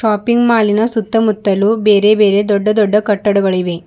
Shopping ಮಾಲಿನ ಸುತ್ತ ಮುತ್ತಲು ಬೇರೆ ಬೇರೆ ದೊಡ್ಡ ದೊಡ್ಡ ಕಟ್ಟಡಗಳಿವೆ.